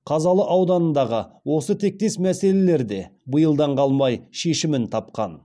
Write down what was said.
қазалы ауданындағы осы тектес мәселелер де биылдан қалмай шешімін тапқан